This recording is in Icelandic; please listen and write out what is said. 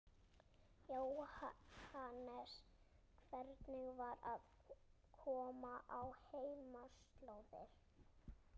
Jóhannes: Hvernig var það að koma á heimaslóðir?